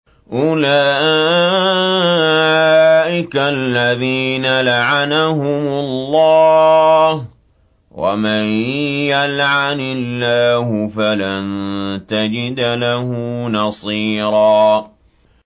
أُولَٰئِكَ الَّذِينَ لَعَنَهُمُ اللَّهُ ۖ وَمَن يَلْعَنِ اللَّهُ فَلَن تَجِدَ لَهُ نَصِيرًا